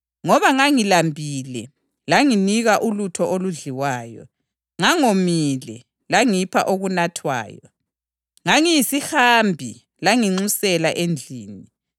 Lapho-ke iNkosi izakuthi kulabo abangakwesokunene sayo, ‘Wozani, lina elibusiswe nguBaba; thathani ilifa lenu, umbuso owalungiselwa lina kusukela ekudalweni komhlaba.